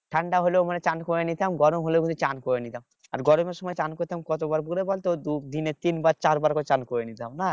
ঠাণ্ডা হলেও মানে চান করে নিতাম গরম হলেও স্নান করে নিতাম আর গরমের সময় চান করতাম কতবার করে বলতো দিনে তিনবার চারবার করে চান করে নিতাম না?